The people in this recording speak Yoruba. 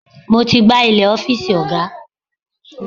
Mo ti gbá ilẹ̀ ọ́fíìsì ọ̀gá.